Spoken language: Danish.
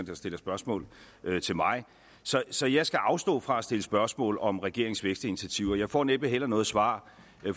der stiller spørgsmål til mig så jeg skal afstå fra at stille spørgsmål om regeringens vækstinitiativer og jeg får næppe heller noget svar